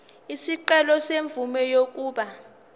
isicelo semvume yokuba